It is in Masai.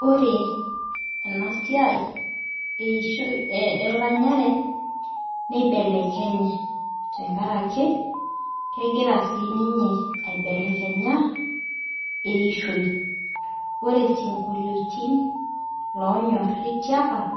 Ore enasia eishoi eranyare nibelekenye tenkaraki egira sinye aibelekenya eishoi ore sinkolioti onyari tiapa